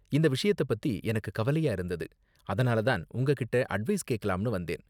இந்த விஷயத்த பத்தி எனக்கு கவலையா இருந்தது, அதனால தான் உங்ககிட்டே அட்வைஸ் கேக்கலாம்னு வந்தேன்.